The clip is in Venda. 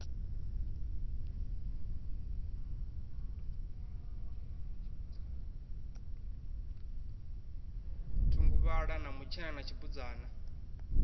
thunguvhala na mutshena na tshibudzana